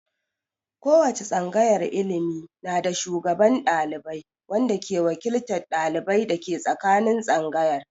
Ko wace tsangayar ilimi na da shugaban ɗalibai wanda ke wakiltan dalibai dake tsakanin tsangayar.